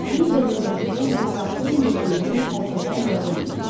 Midiya dövlətinin coğrafi mövqeyini xəritədə müəyyən eləyin.